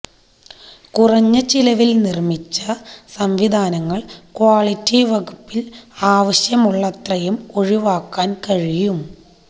കുറഞ്ഞ ചെലവിൽ നിർമ്മിച്ച സംവിധാനങ്ങൾ ക്വാളിറ്റി വകുപ്പിൽ ആവശ്യമുള്ളത്രയും ഒഴിവാക്കാൻ കഴിയും